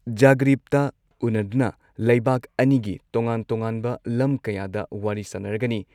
ꯖꯥꯒ꯭ꯔꯤꯕꯇ ꯎꯟꯅꯗꯨꯅ ꯂꯩꯕꯥꯛ ꯑꯅꯤꯒꯤ ꯇꯣꯉꯥꯟ ꯇꯣꯉꯥꯟꯕ ꯂꯝ ꯀꯌꯥꯗ ꯋꯥꯔꯤ ꯁꯥꯟꯅꯔꯒꯅꯤ